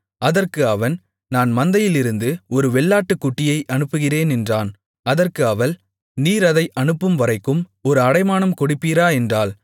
அதற்கு அவன் நான் மந்தையிலிருந்து ஒரு வெள்ளாட்டுக்குட்டியை அனுப்புகிறேன் என்றான் அதற்கு அவள் நீர் அதை அனுப்பும்வரைக்கும் ஒரு அடைமானம் கொடுப்பீரா என்றாள்